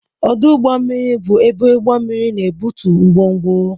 Ọdụ ụgbọ mmiri bụ ebe ụgbọ mmiri na-ebutu ngwongwo.